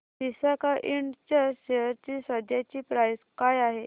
Visaka Ind च्या share ची सध्याची प्राइस काय आहे